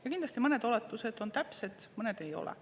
Ja kindlasti mõned oletused on täpsed, mõned ei ole.